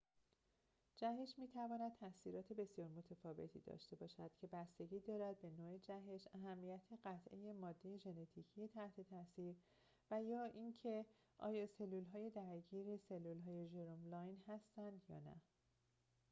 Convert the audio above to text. جهش می‌تواند تأثیرات بسیار متفاوتی داشته باشد که بستگی دارد به نوع جهش اهمیت قطعه ماده ژنتیکی تحت تأثیر و اینکه آیا سلولهای درگیر سلولهای ژرم لاین هستند یا نه